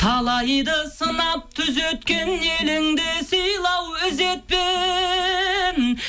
талайды сынап түзеткен еліңді сыйла ау ізетпен